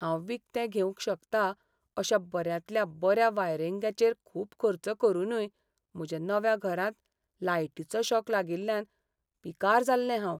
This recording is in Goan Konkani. हांव विकतें घेवंक शकतां अशा बऱ्यांतल्या बऱ्या वायरिंगाचेर खूब खर्च करूनय म्हज्या नव्या घरांत लायटीचो शॉक लागिल्ल्यान पिकार जाल्लें हांव.